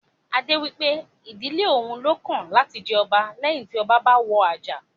Adé wípé ìdílé òun lọ́kàn láti jẹ ọba leyin ti ọba bá wọ àjà